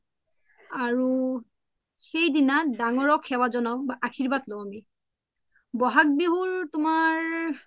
সেই দিনা দাঙৰক সেৱা জোনাও বা আশিৰ্বাদ লও আমি বহাগ বিহু তুমাৰ